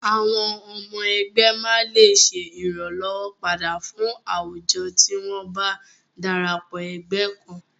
Àwọn ọmọ ẹgbẹ́ máa lè ṣe ìrànlọ́wọn padà fún àwùjo tí wọn bá darapọ̀ ẹgbẹ́ kan.